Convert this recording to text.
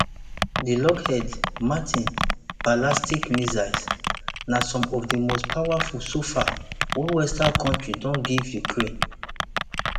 di lockheed martin ballistic missiles na some of di most powerful so far wey western kontri don give ukraine